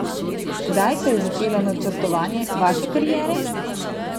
Kdaj se je začelo načrtovanje vaše kariere?